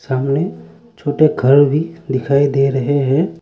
सामने छोटे घर भी दिखाई दे रहे है।